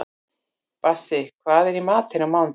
Bassí, hvað er í matinn á mánudaginn?